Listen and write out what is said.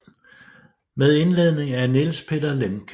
Med indledning af Niels Peter Lemche